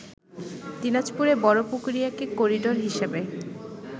দিনাজপুরের বড়পুকুরিয়াকে করিডোর হিসেবে